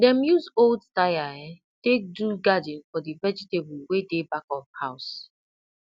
dem use old tyre um take do garden for the vegetable wey dey back of house